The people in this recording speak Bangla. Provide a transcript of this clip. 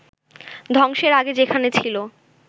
ধ্বংসের আগে যেখানে ছিল